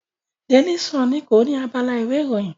Daily Sun ni kọ ni abala ìwé ìròyìn.